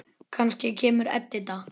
Kannski kemur Edita.